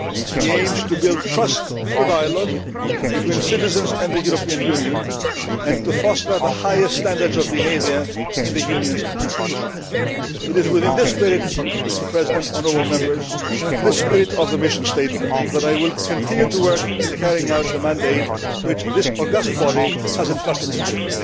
He aims to build trust through dialogue, between citizens and the European Union and to foster the highest standards of behaviour in the Union's institutions'. It is within this spirit, Mr President, honourable Members, this spirit of the Commission statement, that I will continue to work in carrying out the mandate which this august body has entrusted me with.